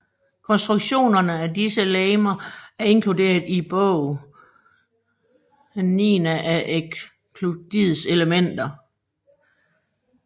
Konstruktionerne af disse legemer er inkluderet i Bog XIIII af Euklids Elementer